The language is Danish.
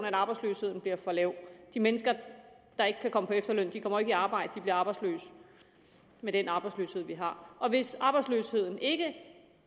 at arbejdsløsheden bliver for lav de mennesker der ikke kan komme på efterløn kommer ikke i arbejde de bliver arbejdsløse med den arbejdsløshed vi har og hvis arbejdsløsheden ikke